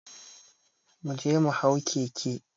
Mu je mu hau keke